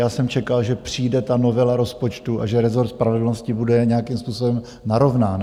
Já jsem čekal, že přijde ta novela rozpočtu a že rezort spravedlnosti bude nějakým způsobem narovnán.